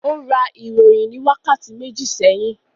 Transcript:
Ó ra ìròyìn ní wákàtí méjì sẹ́yìn?